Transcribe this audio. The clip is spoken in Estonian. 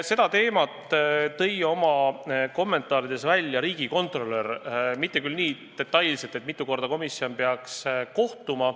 Seda teemat märkis oma kommentaarides ka riigikontrolör, mitte küll nii detailselt, mitu korda kuus komisjon peaks kohtuma.